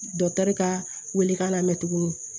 Dɔkitɛri ka weelekan lamɛn tulu